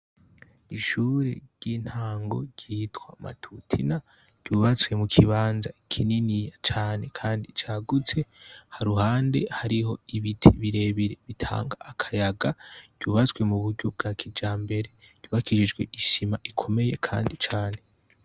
Ishure ryintango ryitwa matutina ryubatswe mukibanza kininiya cane kandi cagutse haruhande hariho ibiti birebire bitanga akayaga ryubatswe muburyo bwakijambere ryubakishijwe isima ikomeye kandi cane